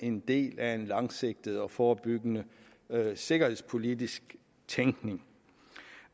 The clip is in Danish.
en del af en langsigtet og forebyggende sikkerhedspolitisk tænkning